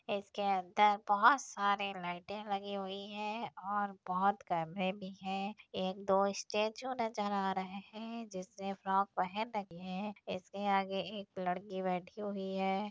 इसके अंदर बहुत सारे लाइटें लगी हुई हैं और बहुत कमरे भी हैं | एक दो स्टैचू नजर आ रहे हैं जिसने फ्रॉक पहन रखी है इसके आगे एक लड़की बैठी हुई है।